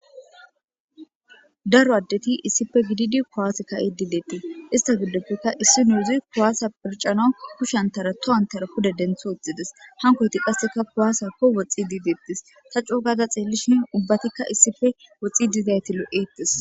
daro addeti issife gididi kowaase ka7i diideettie ista giddoppeka issi nuuzi kuwaasa pircano kushshantara tohantara kuda dentho oxxides hankoyti qasseka kuwaasakko woxi diideettis ta coogada xeellishin ubbatikka issife woxi dizayti lo7eettis